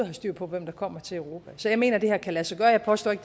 har styr på hvem der kommer til europa så jeg mener at det her kan lade sig gøre jeg påstår ikke